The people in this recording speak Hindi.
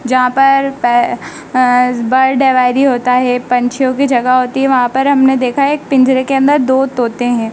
जहां पर पॅ अ बर्ड एवायरी होता है पंछियों की जगह होती है वहां पर हमने देखा है एक पिंजरे के अंदर दो तोते हैं।